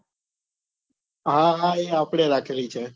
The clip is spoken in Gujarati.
હા હા એ આપડે રાખેલી છે.